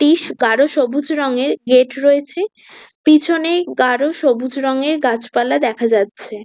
টিস গারো সবুজ রঙের হেড রয়েছে পিছনে গারো সবুজ রংয়ের গাছপালা দেখা যাচ্ছে।